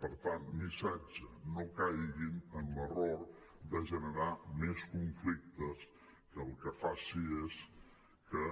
per tant missatge no caiguin en l’error de generar més conflictes que el que faci és que